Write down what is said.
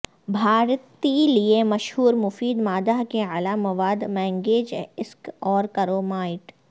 بھارتی لئے مشہور مفید مادہ کے اعلی مواد مینگنیج ایسک اور کرومائٹ